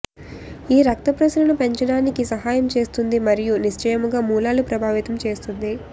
ఈ రక్త ప్రసరణ పెంచడానికి సహాయం చేస్తుంది మరియు నిశ్చయముగా మూలాలు ప్రభావితం చేస్తుంది